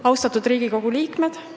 Austatud Riigikogu liikmed!